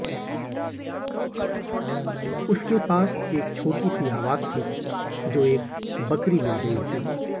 उसके पास एक छोटी सी आवाज थी जो एक बकरी मिल गई थी